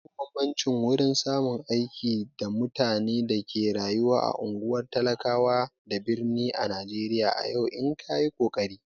Babu bambanci wurin samun aiki da mutane da ke rayuwa a ungwar talakawa da birni ã Najeriya a yau in kayi kokari.